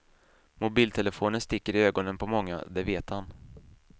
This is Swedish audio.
Mobiltelefonen sticker i ögonen på många, det vet han.